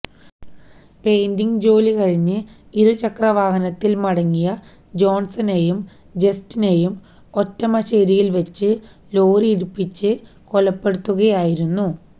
painting ജോലി കഴിഞ്ഞ് ഇരുചക്രവാഹനത്തിൽ മടങ്ങിയ ജോൺസനെയും ജസ്റ്റിനെയും ഒറ്റമശേരിയിൽ വച്ച് ലോറി ഇടിപ്പിച്ച് കൊലപ്പെടുത്തുകയായിരുന്നു